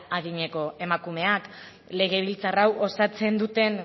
adineko emakumeak legebiltzar hau osatzen